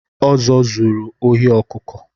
Ozo zụrụ ohi ọkụkụ